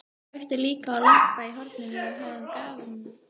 Kveikti líka á lampa í horninu við höfðagaflinn á dívaninum.